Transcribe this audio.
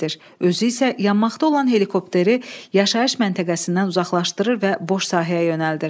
Özü isə yanmaqda olan helikopteri yaşayış məntəqəsindən uzaqlaşdırır və boş sahəyə yönəldir.